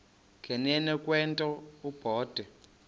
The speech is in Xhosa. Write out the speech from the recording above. nganeno kwento obe